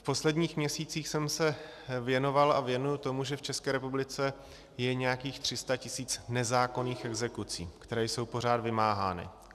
V posledních měsících jsem se věnoval a věnuji tomu, že v České republice je nějakých 300 tisíc nezákonných exekucí, které jsou pořád vymáhány.